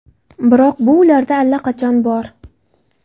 Biroq bu ularda allaqachon bor!